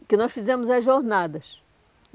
O que nós fizemos é Jornadas.